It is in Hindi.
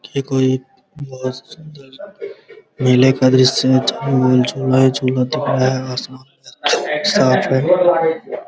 ये कोई बहुत सुंदर बहुत सुन्दर मेले का दृश्य है जहाँ झूला ही झूला दिख रहा है | आसमान पूरा साफ है ।